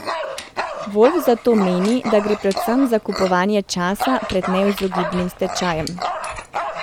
Volf zato meni, da gre predvsem za kupovanje časa pred neizogibnim stečajem.